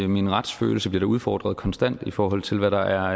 min retsfølelse bliver udfordret konstant i forhold til hvad der